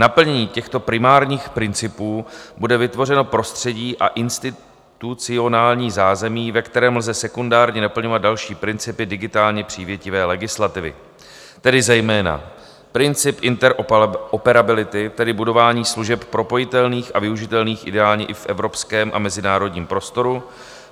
Naplněním těchto primárních principů bude vytvořeno prostředí a institucionální zázemí, ve kterém lze sekundárně naplňovat další principy digitálně přívětivé legislativy, tedy zejména princip interoperability, tedy budování služeb propojitelných a využitelných ideálně i v evropském a mezinárodním prostoru,;